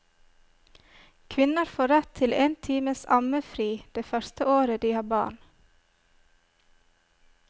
Kvinner får rett til en times ammefri det første året de har barn.